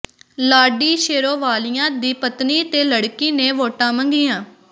ਲਾਡੀ ਸ਼ੇਰੋਵਾਲੀਆ ਦੀ ਪਤਨੀ ਤੇ ਲੜਕੀ ਨੇ ਵੋਟਾਂ ਮੰਗੀਆਂ